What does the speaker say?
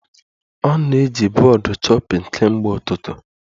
Ọ na-eji bọọdụ chopping kemgbe ụtụtụ